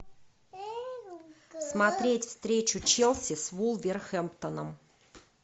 смотреть встречу челси с вулверхэмптоном